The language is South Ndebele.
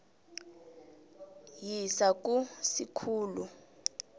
yisa ku sikhulu